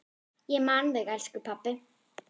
Ég man þig, elsku pabbi.